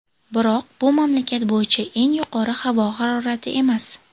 Biroq bu mamlakat bo‘yicha eng yuqori havo harorati emas.